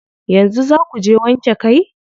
Yanzu zaa kuje wanke kai?